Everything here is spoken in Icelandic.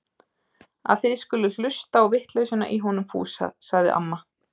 Að þið skulið hlusta á vitleysuna í honum Fúsa! sagði amma.